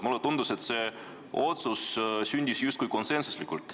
Mulle tundus, et see otsus sündis justkui konsensuslikult.